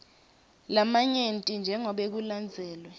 lamanyenti njengobe kulandzelwe